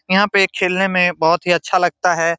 यहां पे खेलने मे बहोत ही अच्छा लगता है।